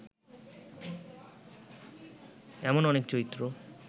এমন অনেক চরিত্র